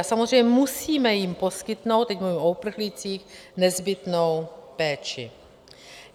A samozřejmě musíme jim poskytnout - teď mluvím o uprchlících - nezbytnou péči.